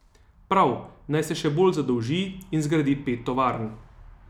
Prav, naj se še bolj zadolži in zgradi pet dvoran.